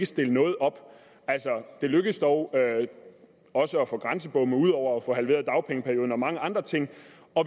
stille noget op altså det lykkedes dog også at få grænsebomme ud over at få halveret dagpengeperioden og mange andre ting